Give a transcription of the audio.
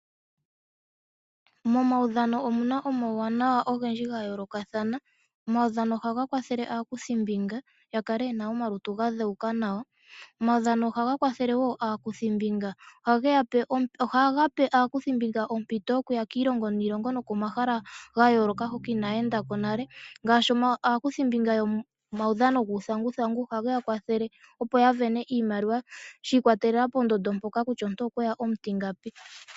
Momaudhano omuna omawuuwanawa ogendji gayoolokathana, omaudhano ohaga kwathele aakuthimbinga yakale yena omalutu gadheuka nawa. Omaudhano ohaga kwathele woo aakuthimbinga ohaga pe aakuthimbinga ompito yokuya kiilongo niilongo nokomahala gayooloka hoka inaayendako nale, ngaashi aakuthimbinga yomaudhano guuthanguthangu ohageya kwathele opo yavene iimaliwa shii kwatelela poondondo mpoka kutya omuntu okweya omutingapi.